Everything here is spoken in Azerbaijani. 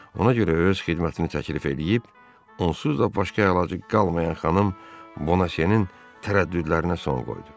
Ona görə öz xidmətini təklif eləyib onsuz da başqa əlacı qalmayan xanım Boneziyanın tərəddüdlərinə son qoydu.